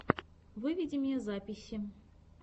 выведи мне записи